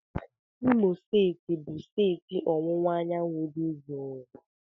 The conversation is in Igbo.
Imo steeti bụ steeti ọwụwa anyanwụ dị jụụ.